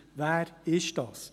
Wer ist das?